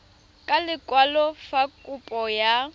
ka lekwalo fa kopo ya